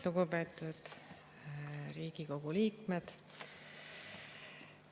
Lugupeetud Riigikogu liikmed!